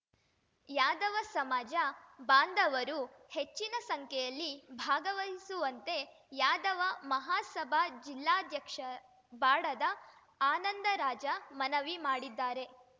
ಯಾದವ ಸಮಾಜ ಬಾಂಧವರು ಹೆಚ್ಚಿನ ಸಂಖ್ಯೆಯಲ್ಲಿ ಭಾಗವಹಿಸುವಂತೆ ಯಾದವ ಮಹಾಸಭಾ ಜಿಲ್ಲಾಧ್ಯಕ್ಷ ಬಾಡದ ಆನಂದರಾಜ ಮನವಿ ಮಾಡಿದ್ದಾರೆ